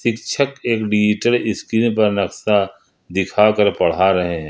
शिक्षक एक digital screen पर नक्शा दिखा कर पढ़ा रहे हैं।